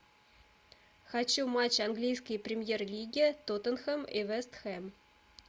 хочу матч английской премьер лиги тоттенхэм и вест хэм